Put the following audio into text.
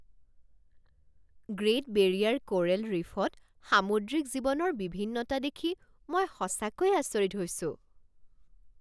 Great Barrier coral ৰীফত সামুদ্ৰিক জীৱনৰ বিভিন্নতা দেখি মই সঁচাকৈয়ে আচৰিত হৈছোঁ।